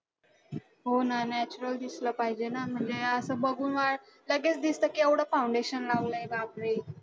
हो ना, natural दिसला पाहिजे ना म्हणजे असं बघून लगेच दिसतं की एवढं foundation लावलंय बापरे.